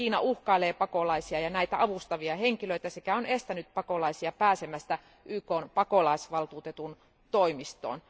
Kiina uhkailee pakolaisia ja näitä avustavia henkilöitä sekä on estänyt pakolaisia pääsemästä YKn pakolaisvaltuutetun toimistoon.